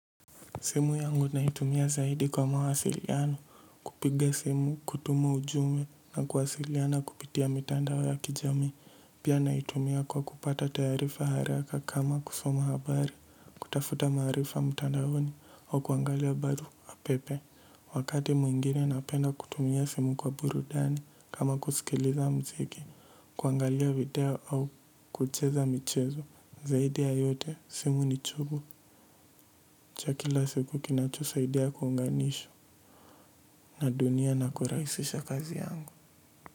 Simu yangu naitumia zaidi kwa mawasiliano. Kupiga simu kutuma ujumbe na kuwasiliana kupitia mitandao ya kijamii. Pia naitumia kwa kupata taarifa haraka kama kusoma habari. Kutafuta maarifa mtandaoni au kuangalia barua pepe. Wakati mwingine napenda kutumia simu kwa burudani kama kusikiliza mziki. Kuangalia video au kucheza michezo na dunia na kurahisisha kazi yangu.